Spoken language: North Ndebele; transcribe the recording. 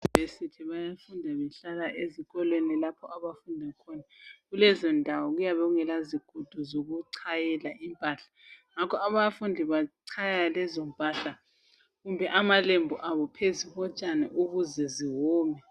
Euniversity bayafunda behlala ezikolweni lapho abafunda khona. Kulezondawo kuyabe kungalazigudu zokuchayela impahla. Ngakho abafundi bachaya lezompahla kumbe amalembu abo phezu kotshani, ukuze ziwome.